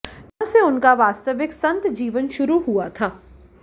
जहां से उनका वास्तविक संत जीवन शुरू हुआ था